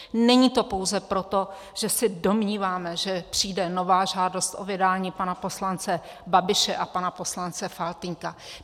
Není to pouze proto, že se domníváme, že přijde nová žádost o vydání pana poslance Babiše a pana poslance Faltýnka.